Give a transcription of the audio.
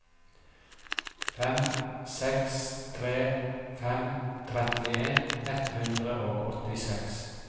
fem seks tre fem trettien ett hundre og åttiseks